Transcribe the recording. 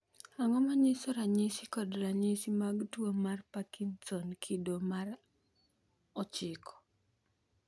Ang'o manyiso ranyisi kod ranyisi mag tuo mar Parkinson kido mar 9?